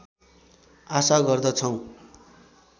आशा गर्दछौँ